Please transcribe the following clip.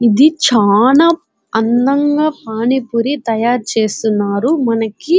ఇది చానా అందంగ పాణి పూరి తాయారు చేస్తున్నారు మనకి.